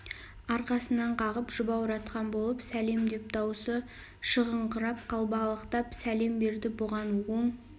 арқасынан қағып жұбауратқан болып сәлем деп дауысы шығыңқырап қалбалақтап сәлем берді бұған оң